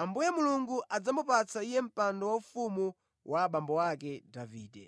Ambuye Mulungu adzamupatsa Iye mpando waufumu wa abambo ake Davide,